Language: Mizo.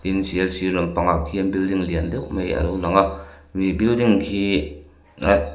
sial sirah lampangah khian building lian deuh mai a lo lang a khi building khi aatt--